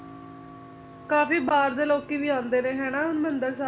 ਕਾਫੀ ਬਾਹਰ ਦੇ ਲੋਕੀ ਵੀ ਆਉਂਦੇ ਨੇ ਹਨਾਂ ਹਰਮਿੰਦਰ ਸਾਹਿਬ